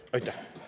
Aitäh!